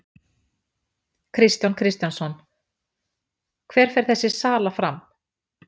Kristján Kristjánsson: Hver fer þessi sala fram?